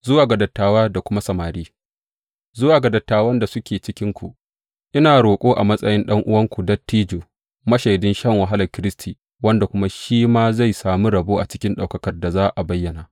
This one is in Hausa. Zuwa ga dattawa da kuma samari Zuwa ga dattawan da suke cikinku, ina roƙo a matsayin ɗan’uwanku dattijo, mashaidin shan wahalar Kiristi wanda kuma shi ma zai sami rabo cikin ɗaukakar da za a bayyana.